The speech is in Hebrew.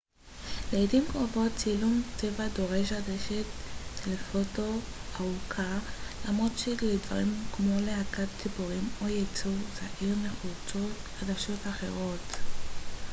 לעתים קרובות צילום טבע דורש עדשת טלפוטו ארוכה למרות שלדברים כמו להקת ציפורים או יצור זעיר נחוצות עדשות אחרות